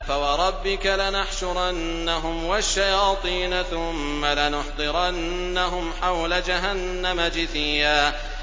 فَوَرَبِّكَ لَنَحْشُرَنَّهُمْ وَالشَّيَاطِينَ ثُمَّ لَنُحْضِرَنَّهُمْ حَوْلَ جَهَنَّمَ جِثِيًّا